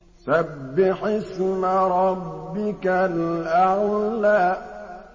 سَبِّحِ اسْمَ رَبِّكَ الْأَعْلَى